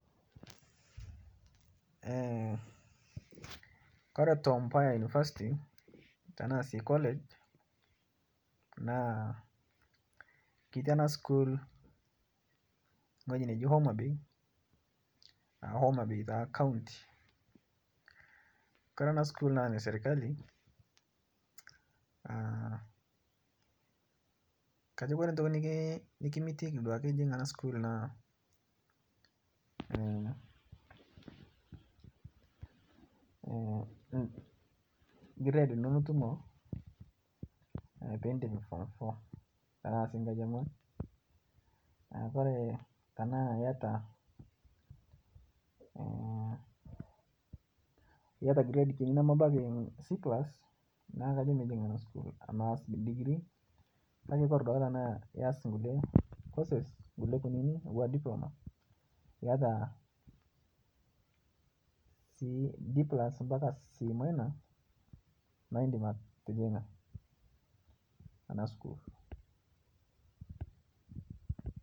Kore tom Mboya university tanaa sii college naa ketii ana sukuul ng'hojii nejii Homa bay aa homabay taa kauntii, Kore ana sukuul naa neserkalii akajo kore ntoki nikimitikii duake ijing' ana sukuul naa, grade inoo nitumoo piindip form four tanaa sii nkaji eong'uan, naa kore tanaa iataa grade kinii nemebakii C+ naa kajo mijing' naa sukuul aaz degree kakee kore duake tanaa iaz nkulie courses nkulie kuninii atuwaa diploma iata sii D+ mpaka C- naa indim atijing'a ana sukuul.